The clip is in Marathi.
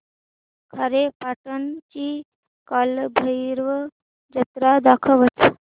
खारेपाटण ची कालभैरव जत्रा दाखवच